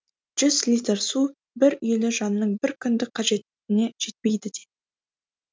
жүз литр су бір үйлі жанның бір күндік қажетіне жетпейді де